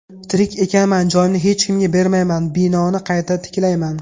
Tirik ekanman, joyimni hech kimga bermayman, binoni qayta tiklayman.